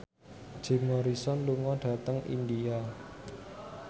Jim Morrison lunga dhateng India